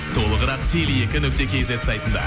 толығырақ теле екі нүкте кейзет сайтында